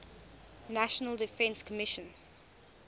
national defense commission